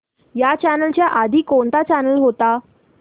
ह्या चॅनल च्या आधी कोणता चॅनल होता